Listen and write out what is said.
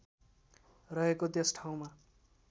रहेको त्यस ठाउँमा